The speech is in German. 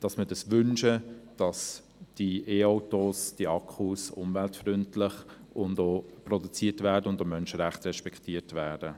Dies ist auch ein Anliegen der Bevölkerung, und ich nehme an, dass ich auch für eine Mehrheit hier drin spreche.